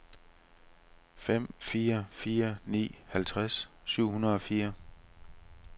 fem fire fire ni halvtreds syv hundrede og fire